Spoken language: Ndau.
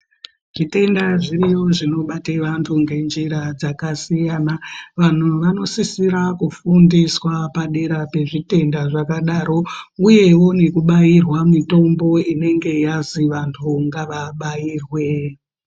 Zvitenda zviriyo zvinobate vantu ngenjira dzakasiyana. Vanhu vanosisira kufundiswa padera pezvitenda zvakadaro. Uyewo nekubairwa mitombo inenge yazi vantu ngavabairwe.